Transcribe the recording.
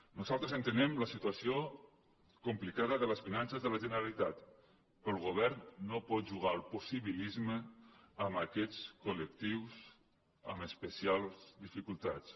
nosaltres entenem la situació complicada de les finan·ces de la generalitat però el govern no pot jugar al possibilisme amb aquests col·lectius amb especials di·ficultats